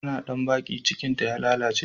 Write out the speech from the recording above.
Tana bandaki ,cikinta ya baci.